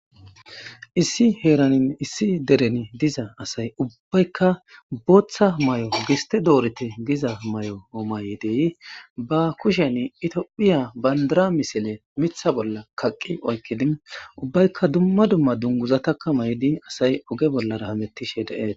Issi heeran issi deren diza asayi ubbaykka bootha mayo gistte doorite giza mayo mayidi ba kushen tophphiya bandira misile miththa bolla kaqqidi oykidi ubbaykka dumma dumma dungiza mayidi asayi oge hameteesi.